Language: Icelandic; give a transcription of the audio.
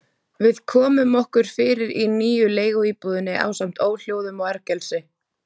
Við komum okkur fyrir í nýju leiguíbúðinni ásamt óhljóðum og ergelsi.